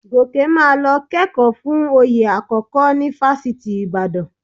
Gòkè máa lọ kẹ́kọ̀ọ́ fún oyè àkọ́kọ́ ní Fáṣítì Ìbàdàn